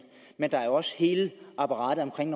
men der er jo også hele apparatet omkring